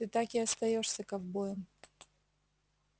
ты так и остаёшься ковбоем